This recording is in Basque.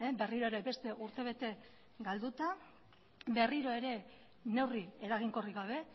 berriro ere beste urtebete galduta berriro ere neurri eraginkorrik gabe